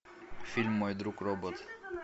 фильм мой друг робот